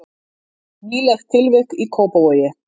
Nýlegt tilvik í Kópavogi